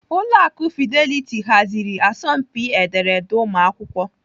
Ụlọ akụ Fidelity haziri asọmpi ederede ụmụakwụkwọ.